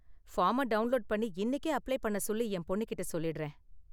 ஃபார்ம download பண்ணி இன்னிக்கே apply பண்ண சொல்லி என் பொண்ணு கிட்ட சொல்லிடுறேன்